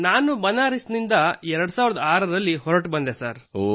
ನಾನು ಬನಾರಸ್ ನಿಂದ 2006 ರಲ್ಲಿ ಹೊರಟು ಬಂದೆ ಸರ್